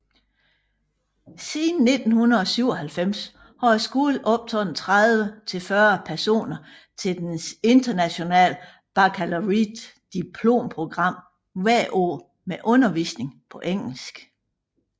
Siden 1997 har skolen optaget 30 til 40 personer til dets International Baccalaureate diplomprogram hvert år med undervisning på engelsk